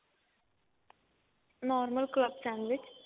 normal sandwich